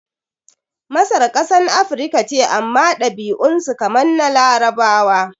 Masar kasan Afirika ce amma ɗabi'un su kamar na Larabawa